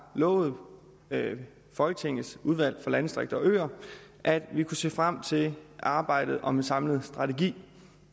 lovet folketingets udvalg for landdistrikter og øer at vi kunne se frem til arbejdet om en samlet strategi